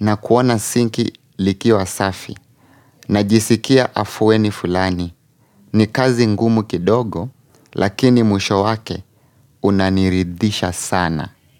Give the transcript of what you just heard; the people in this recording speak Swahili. na kuona sinki likiwa safi, najisikia afueni fulani. Ni kazi ngumu kidogo, lakini mwisho wake unaniridisha sana.